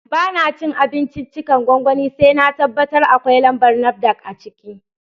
Ba na cin abinciccikan gwangwani sai na tabbatar akwai lambar NAFDAC a jiki